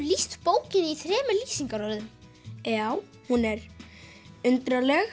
lýst bókinni í þremur lýsingarorðum já hún er